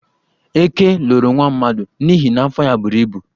Ekè loro nwa mmadụ n'ihi na afọ ya buru ibu.